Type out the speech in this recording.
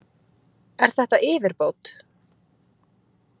Er þetta yfirbót?